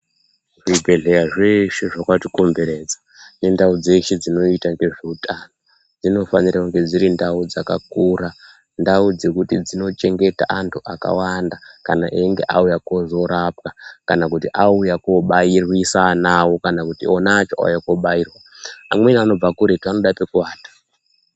Zvibhedhlera zveshe zvakatikomberedza nendau dzeshe dzinoita nezveutano dzinofanira kunge dzirindau dzakakura. Ndau dzekuti dzinochengeta antu akawanda kana einge auya kuzorapwa kana kuti auya kuzobairisa ana awo kana kuti ona acho auya kobairwa. Amweni anobve kure, anoda pekuwata.